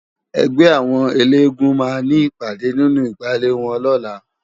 Ègbè áwòn éléègúùn má ni ipàdé ninú igbále wòn lòlá